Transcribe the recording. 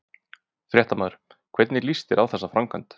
Fréttamaður: Hvernig líst þér á þessa framkvæmd?